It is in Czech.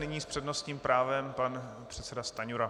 Nyní s přednostním právem pan předseda Stanjura.